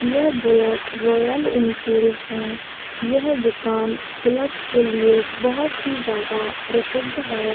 यह Bullet Royal Enfield है | यह दुकान बुलेट के लिए बहुत ही ज्यादा प्रसिद्ध है।